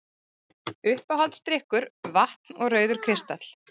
Uppáhaldsdrykkur: vatn og rauður kristall